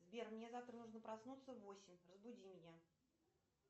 сбер мне завтра нужно проснуться в восемь разбуди меня